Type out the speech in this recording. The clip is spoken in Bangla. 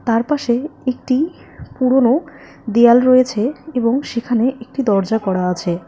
তার পাশে একটি পুরোনো দেয়াল রয়েছে এবং সেখানে একটি দরজা করা আছে।